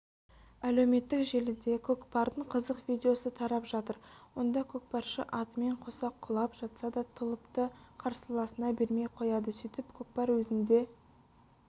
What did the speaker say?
әлеуметтік желіде көкпардың қызық видеосы тарап жатыр онда көкпаршы атымен қоса құлап жатса да тұлыпты қарсыласына бермей қояды сөйтіп көкпар өзінде